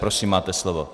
Prosím, máte slovo.